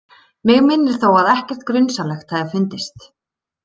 Mig minnir þó að ekkert grunsamlegt hafi fundist.